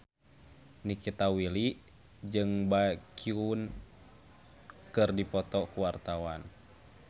Nikita Willy jeung Baekhyun keur dipoto ku wartawan